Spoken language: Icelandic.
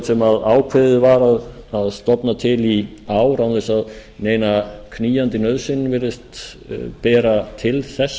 sem ákveðið var að stofna til í ár án þess að neina knýjandi nauðsyn virðist bera til þess